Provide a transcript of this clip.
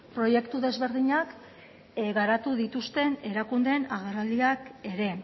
proiektu ezberdinak garatu dituzten erakundeen agerraldiak ere